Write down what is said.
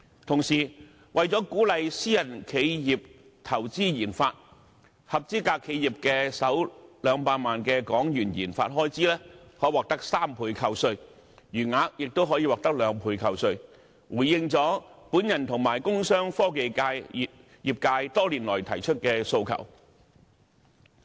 同時，為了鼓勵私人企業投資研發，合資格企業的首200萬港元研發開支可獲得3倍扣稅，餘額亦可獲兩倍扣稅，回應了我和工商科技業界多年來提出的訴求。